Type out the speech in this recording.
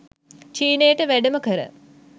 චීනයට වැඩම කර